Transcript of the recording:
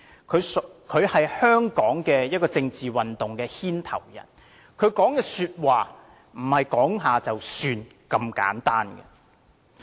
他是香港政治運動的牽頭人，他說的話並非隨口說了就算。